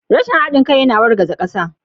Rashin haɗin kai yana wargaza ƙasa.